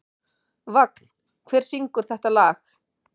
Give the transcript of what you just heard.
Vagn, hver syngur þetta lag?